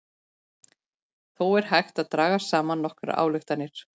Þó er hægt að draga saman nokkrar ályktanir.